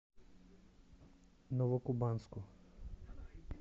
новокубанску